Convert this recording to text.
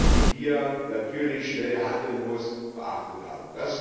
die hier natürlich schnell handeln muss, beachtet haben.